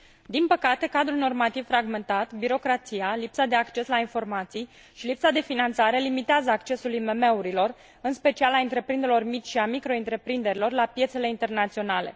Din păcate, cadrul normativ fragmentat, birocrația, lipsa de acces la informații și lipsa de finanțare limitează accesul IMM urilor, în special a întreprinderilor mici și a microîntreprinderilor la piețele internaționale.